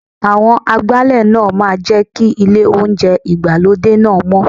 Àwọn Agbálẹ̀ náà máa jẹ́ kí ilé oúnjẹ ìgbàlódé náà mọ́.